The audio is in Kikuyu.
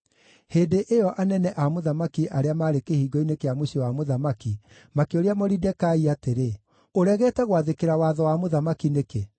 Hĩndĩ ĩyo anene a mũthamaki arĩa maarĩ kĩhingo-inĩ kĩa mũciĩ wa mũthamaki makĩũria Moridekai atĩrĩ, “Ũregete gwathĩkĩra watho wa mũthamaki nĩkĩ?”